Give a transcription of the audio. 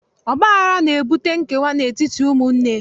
Ọgbaghara na-ebute nkewa n'etiti ụmụnne.